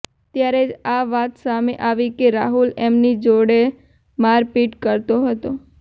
ત્યારે જ આ વાત સામે આવી કે રાહુલ એમની જોડે મારપીટ કરતો હતો